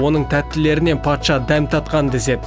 оның тәттілерінен патша дәм татқан деседі